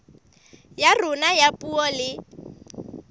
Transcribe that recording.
ya rona ya puo le